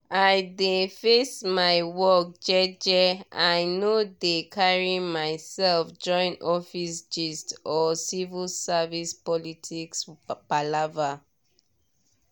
i dey face my work jeje i no dey carry myself join office gist or civil service politics palava.